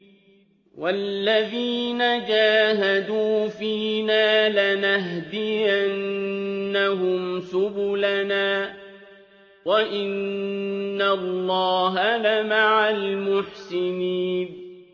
وَالَّذِينَ جَاهَدُوا فِينَا لَنَهْدِيَنَّهُمْ سُبُلَنَا ۚ وَإِنَّ اللَّهَ لَمَعَ الْمُحْسِنِينَ